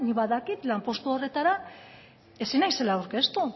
badakit lanpostu horretara ezin naizela aurkeztu